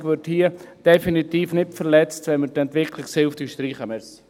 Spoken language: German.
Die KV würde hier definitiv nicht verletzt, wenn wir die Entwicklungshilfe streichen würden.